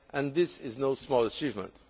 This is no small achievement.